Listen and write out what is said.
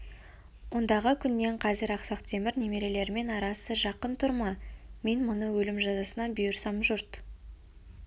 ондағы күннен қазір ақсақ темір немерелерімен арасы жақын тұр ма мен мұны өлім жазасына бұйырсам жұрт